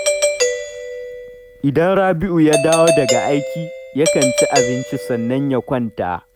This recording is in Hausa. Idan Rabi’u ya dawo daga aiki, yakan ci abinci sannan ya kwanta